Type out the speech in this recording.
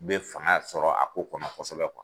Be fanga sɔrɔ a ko kɔnɔ kɔsɛbɛ